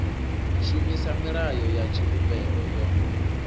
shumisa milayo ya tshivhumbeo yo